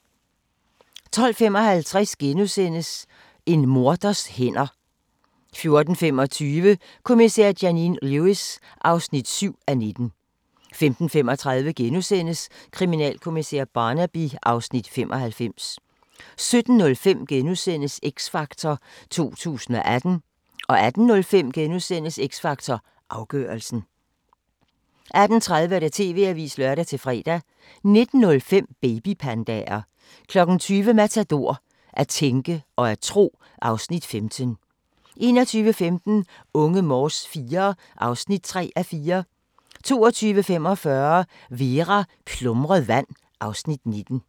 12:55: En morders hænder * 14:25: Kommissær Janine Lewis (7:19) 15:35: Kriminalkommissær Barnaby (Afs. 95)* 17:05: X Factor 2018 * 18:05: X Factor Afgørelsen * 18:30: TV-avisen (lør-fre) 19:05: Babypandaer 20:00: Matador - At tænke og tro (Afs. 15) 21:15: Unge Morse IV (3:4) 22:45: Vera: Plumret vand (Afs. 19)